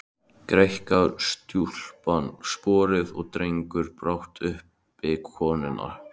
Greikkar stúlkan sporið og dregur brátt uppi konuna.